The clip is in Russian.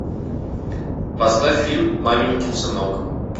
поставь фильм маменькин сынок